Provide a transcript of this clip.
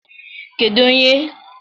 kedụ ebe onye nlekọta ụgbọ elu nọ?